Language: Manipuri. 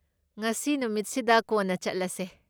ꯉꯁꯤ ꯅꯨꯃꯤꯠꯁꯤꯗ ꯀꯣꯟꯅ ꯆꯠꯂꯁꯦ꯫